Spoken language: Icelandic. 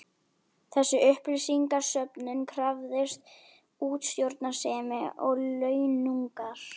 Þessi upplýsingasöfnun krafðist útsjónarsemi og launungar.